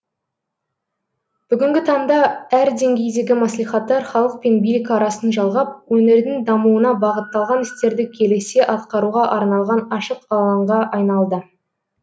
бүгінгі таңда әр деңгейдегі мәслихаттар халық пен билік арасын жалғап өңірдің дамуына бағытталған істерді келісе атқаруға арналған ашық алаңға айналды